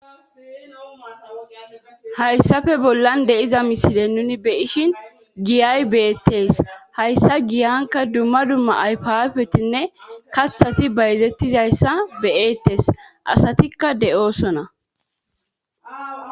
Hayssafe bollan deiza miside nuni beyishin giyay beetes hayssa giyanka dumma dumma ayfafetinne kaththati bayzettizayssa beyeettes asatikka de'oosona.